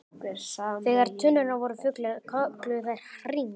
Þegar tunnurnar voru fullar kölluðu þær á HRING!